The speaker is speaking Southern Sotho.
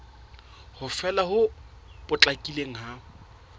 ho fela ho potlakileng ha